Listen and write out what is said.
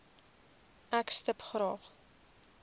ek stip graag